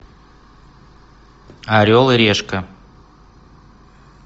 орел и решка